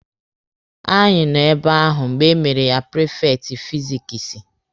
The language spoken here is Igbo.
Anyị nọ ebe ahụ mgbe emere ya prifekti fizikisi.